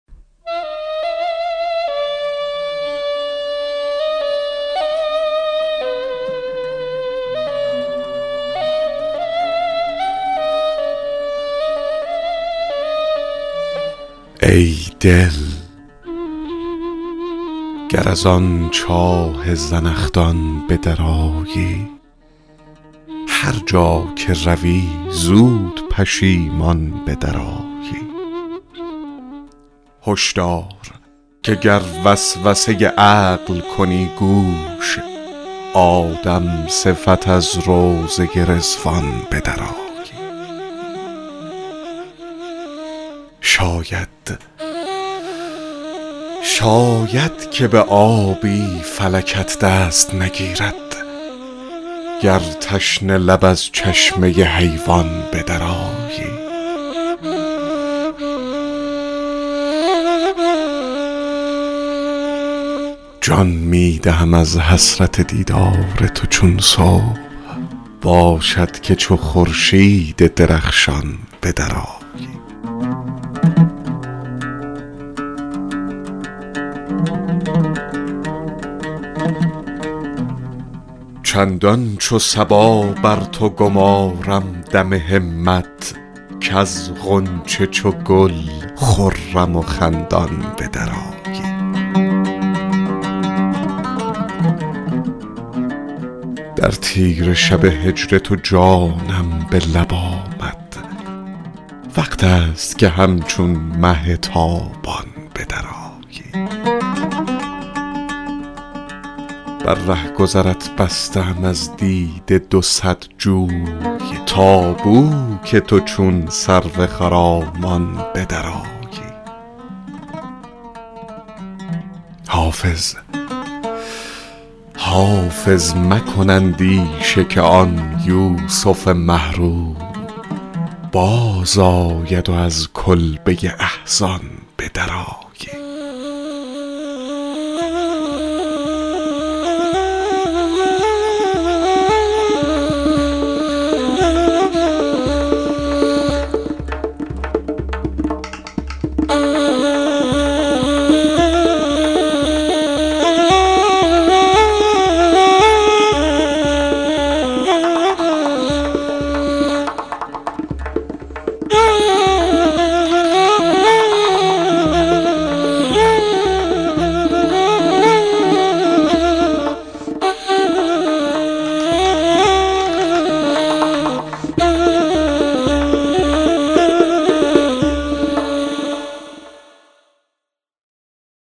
ای دل گر از آن چاه زنخدان به درآیی هر جا که روی زود پشیمان به درآیی هش دار که گر وسوسه عقل کنی گوش آدم صفت از روضه رضوان به درآیی شاید که به آبی فلکت دست نگیرد گر تشنه لب از چشمه حیوان به درآیی جان می دهم از حسرت دیدار تو چون صبح باشد که چو خورشید درخشان به درآیی چندان چو صبا بر تو گمارم دم همت کز غنچه چو گل خرم و خندان به درآیی در تیره شب هجر تو جانم به لب آمد وقت است که همچون مه تابان به درآیی بر رهگذرت بسته ام از دیده دو صد جوی تا بو که تو چون سرو خرامان به درآیی حافظ مکن اندیشه که آن یوسف مه رو بازآید و از کلبه احزان به درآیی